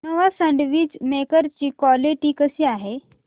Nova sandwich maker ची quality कशी आहे